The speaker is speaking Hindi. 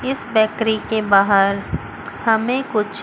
इस बैकरी के बाहर हमें कुछ--